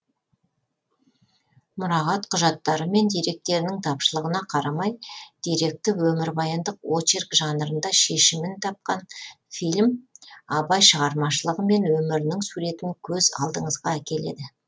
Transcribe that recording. мұрағат құжаттары мен деректерінің тапшылығына қарамай деректі өмірбаяндық очерк жанрында шешімін тапқан фильм абай шығармашылығы мен өмірінің суретін көз алдыңызға әкеледі